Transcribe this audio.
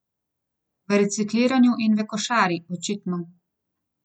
V recikliranju in v košarki, očitno!